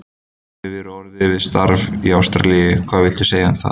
Þú hefur verið orðaður við starf í Ástralíu, hvað viltu segja um það?